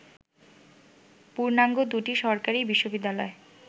পূর্ণাঙ্গ দুটি সরকারি বিশ্ববিদ্যালয়